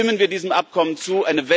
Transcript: Stimmen wir diesem Abkommen zu!